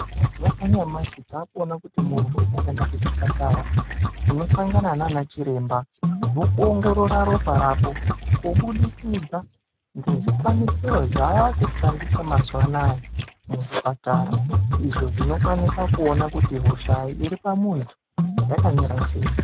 Mazuva anyamashi takuona kuti muntu ukaenda kuzvipatara unosangana nanachiremba vokuongorora ropa rako. Kubudikidza ngezvikwanisiro zvavakushandiswa mazuva anaya muzvipatara. Izvo zvinokwanisa kuona kuti hosha iri pamuntu yakamira sei.